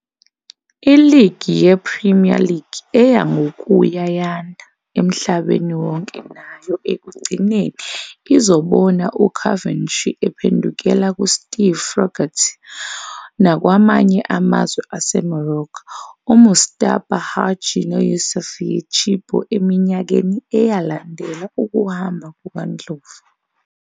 Iligi yePremier League eya ngokuya yanda emhlabeni wonke nayo ekugcineni izobona uCoventry ephendukela kuSteve Froggatt nakwamanye amazwe aseMorocco uMustapha Hadji noYoussef Chippo eminyakeni eyalandela ukuhamba kukaNdlovu.